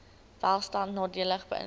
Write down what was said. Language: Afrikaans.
welstand nadelig beïnvloed